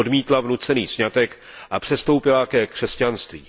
odmítla vnucený sňatek a přestoupila ke křesťanství.